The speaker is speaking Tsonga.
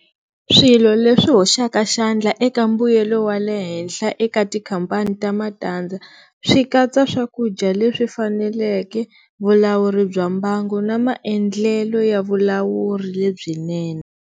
Swilo leswi hoxaka xandla eka mbuyelo wa le henhla eka tikhampani ta matandza swi katsa swakudya leswi faneleke, vulawuri bya mbangu, na maendlelo ya vulawuri lebyinene.